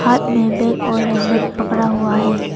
और में भी एक ओर हेलमेट पकड़ा हुआ है।